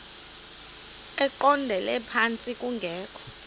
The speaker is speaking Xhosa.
eqondele phantsi kungekho